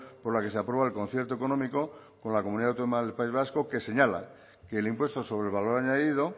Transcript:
por la que se aprueba el concierto económico con la comunidad autónoma del país vasco que señala que el impuesto sobre el valor añadido